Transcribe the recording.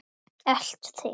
Elt þig?